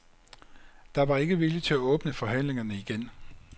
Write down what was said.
Der var ikke vilje til at åbne forhandlingerne igen.